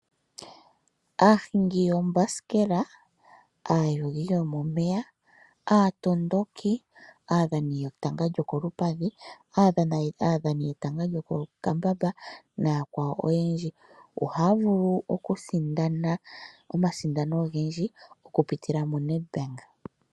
Aahingi yoombasikela, aayugi yomomeya ,aatondoki ,aadhani yoko lupadhi ,aadhani yetanga lyomokambamba ohaya vulu oku sindana omasindano ogendji oku pitila mu Nedbank.